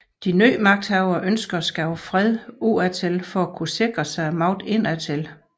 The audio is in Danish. De nye magthavere ønskede at skabe fred udadtil for at kunne sikre sig magten indadtil